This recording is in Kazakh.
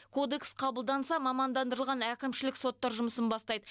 кодекс қабылданса мамандандырылған әкімшілік соттар жұмысын бастайды